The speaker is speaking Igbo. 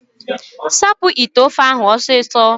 Sapụ ite ofe ahụ ọsịsọ!